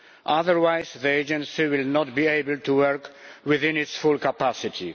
Otherwise the agency will not be able to work within its full capacity.